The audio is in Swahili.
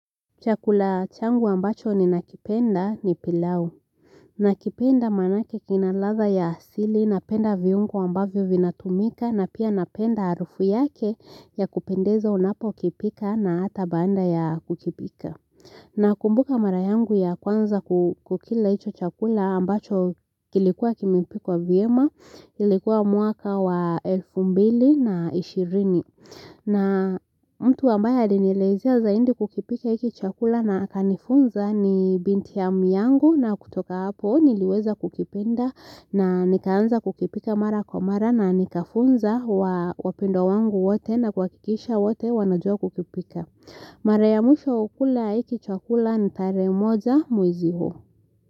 Chakula changu ambacho ninakipenda ni pilau nakipenda maanake kinaladha ya asili, napenda viungo ambavyo vinatumika na pia napenda harufu yake yakupendeza unapokipika na hata baada ya kukipika Nakumbuka mara yangu ya kwanza kukila hicho chakula ambacho kilikuwa kimepikwa vyema, ilikuwa mwaka wa elfu mbili na ishirini na mtu ambaye alinielezea zaidi kukipika hiki chakula na akanifunza ni binti yangu na kutoka hapo niliweza kukipenda na nikaanza kukipika mara kwa mara na nikafunza wapendwa wangu wote na kuhakikisha wote wanajua kukipika. Mara ya mwisho kula hiki chakula ni tarehe moja mwezi huu.